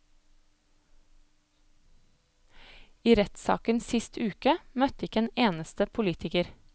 I rettssaken sist uke møtte ikke en eneste politiker.